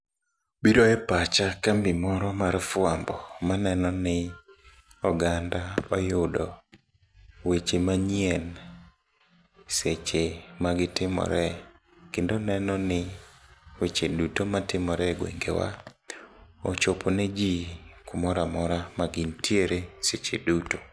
Biro e pacha kambi moro mar fuambo maneno ni oganda oyudo weche manyien seche magitimore, kendo nenoni weche duto matimore e gwengewa ochopone jii kumora amora magin ntiere seche duto.